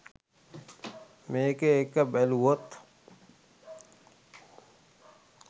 මේකේ එක බැලුවොත්